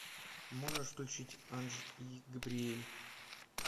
можешь включить анж и габриель